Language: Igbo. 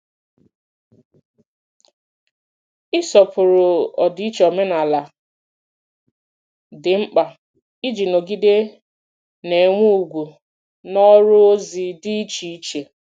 Ịsọpụrụ ọdịiche omenala dị mkpa iji nọgide na-enwe ugwu n’ọrụ ozi dị iche iche.